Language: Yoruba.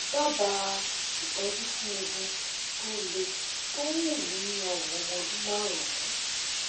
dábàá ìtọjú fún eegun tó lé tó ń hù ní ọrùn ọmọ ọdún márùnún